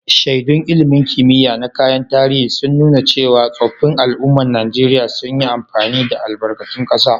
Shaidun ilmin kimiya na kayan tarihi, sun nuna cewa tsoffin al'ummar Najeriya sun yi amfani da albarkatun kasa.